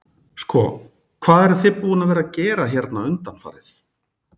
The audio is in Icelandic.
Sko hvað eruð þið búin að vera að að gera hérna undanfarið?